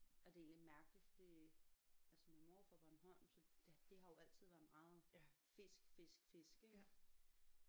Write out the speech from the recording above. Og det er egentlig mærkeligt fordi altså min mor er jo fra Bornholm så der det har jo altid været meget fisk fisk fisk ik